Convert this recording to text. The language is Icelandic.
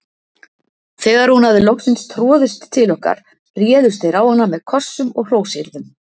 Þegar hún hafði loksins troðist til okkar réðust þeir á hana með kossum og hrósyrðum.